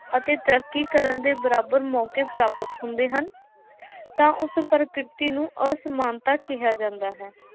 ਅਤੇ ਤਰੱਕੀ ਕਰਨ ਦੇ ਬਰਾਬਰ ਮੌਕੇ ਪ੍ਰਾਪਤ ਹੁੰਦੇ ਹਨ ਤਾਂ ਉਸ ਪ੍ਰਾਕ੍ਰਿਤੀ ਨੂੰ ਅਸਮਾਨਤਾ ਕਿਹਾ ਜਾਦਾ ਹੈ।